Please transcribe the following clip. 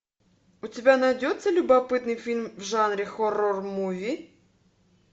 у тебя найдется любопытный фильм в жанре хоррор муви